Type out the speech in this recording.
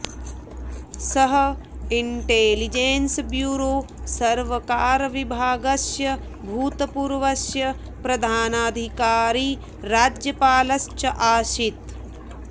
सः intelligence bureau सर्वकारविभागस्य भूतपूर्वस्य प्रधानाधिकारी राज्यपालश्च आसीत्